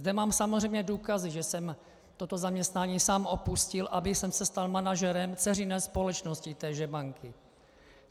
Zde mám samozřejmě důkazy, že jsem toto zaměstnání sám opustil, abych se stal manažerem dceřiné společnosti téže banky.